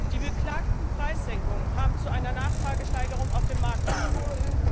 Die beklagten Preissenkungen haben zu einer Nachfragesteigerung auf dem Markt geführt.